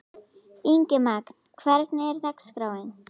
Ingimagn, hvernig er dagskráin?